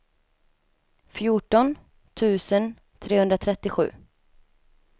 fjorton tusen trehundratrettiosju